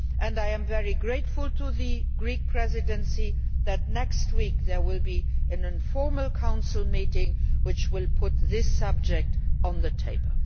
I am very grateful to the Greek Presidency for the fact that next week there will be an informal Council meeting which will put this subject on the table.